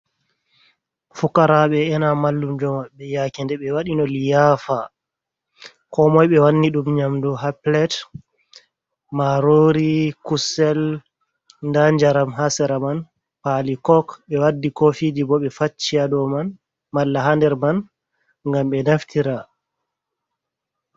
Fukaraɓe ena mallumjo maɓɓe yaake nde ɓe waɗino liyafa. Ko moy ɓe wanni ɗum nyamdu ha pilet marori, kusel, nda njaram ha sera man, pali kok. Ɓe waddi kofiji bo ɓe facci ha dow man malla ha nder man ngam ɓe naftira.